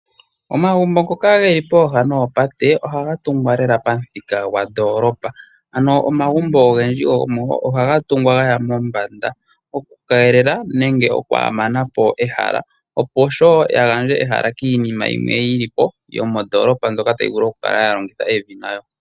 Omagumbo ngoka geli pooha noopate ohaga tungwa lela pamuthika gwandoolopa. Ano omagumbo ogendji ohaga tungwa ga ya mombanda okukeelela nenge okwaamana po ehala opo ya gandje ehala kiinima yimwe yili po yomondoolopa mbyoka tayi vulu okukala ya longitha evi nayo.